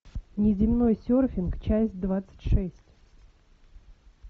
неземной серфинг часть двадцать шесть